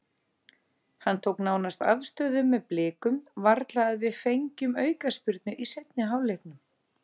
Hann tók nánast afstöðu með Blikum, varla að við fengjum aukaspyrnu í seinni hálfleiknum.